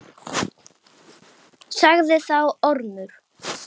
Sagði þá Ormur: